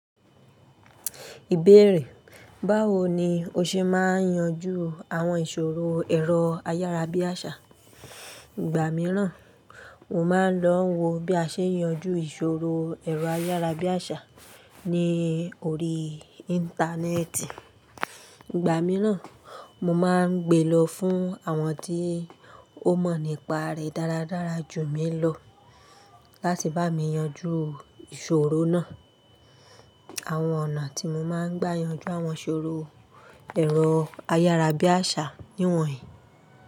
Ìbéèrè: Báwo ni o ṣe máa ń yanjú àwọn ìṣòro ẹ̀rọ ayárabíàṣá? Ìgbà mìíràn, mo máa ń lọ wo bí a ṣe ń yanjú ìṣòro ẹ̀rọ ayárabíàṣá ní orí Íńtánẹ́ẹ̀tì. Ìgbà mìíràn, mo máa ń gbé lọ fún àwọn tí ó mọ̀ nípa rẹ̀ dáradára jù mí lọ láti bá mi yanjú ìṣòro náà. Àwọn ọ̀nà tí mo máa ń gbà yanjú àwọn ìṣòro ẹ̀rọ ayárabíàṣá nìwọ̀nyí.